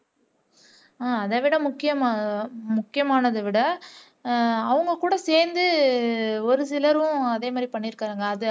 ஹம் அதை விட முக்கியமா முக்கியமானதை விட அவங்க கூட சேர்ந்து ஒரு சிலரும் அதே மாதிரி பண்ணி இருக்காங்க